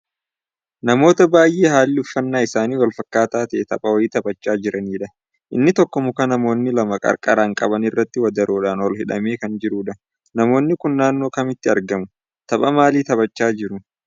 Namoota baay'ee haalli uffannaa isaanii walfakkaataa ta'ee tapha wayii taphachaa jiranidha. Inni tokko muka namoonni lama qarqaraan qabanirratti wadaroodhan ol hidhamee kan jirudha. Namoonni kun naannoo kamitti argamuu? Tapha maalii taphachaa jiruu?